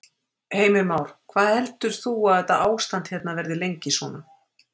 Heimir Már: Hvað heldur þú að þetta ástand hérna verði lengi svona?